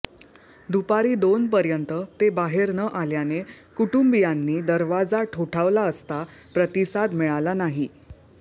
दुपारी दोनपर्यंत ते बाहेर न आल्याने कुटुंबीयांनी दरवाजा ठोठावला असता प्रतिसाद मिळाला नाही